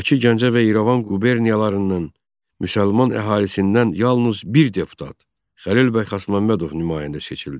Bakı, Gəncə və İrəvan quberniyalarından müsəlman əhalisindən yalnız bir deputat Xəlil bəy Xasməmmədov nümayəndə seçildi.